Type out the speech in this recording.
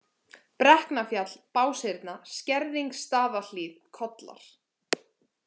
Brekknafjall, Báshyrna, Skerðingsstaðahlíð, Kollar